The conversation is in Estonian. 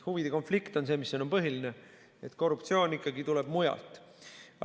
Huvide konflikt on see, mis siin on põhiline, korruptsioon tuleb ikkagi mujalt.